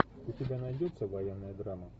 у тебя найдется военная драма